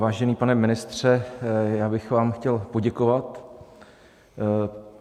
Vážený pane ministře, já bych vám chtěl poděkovat.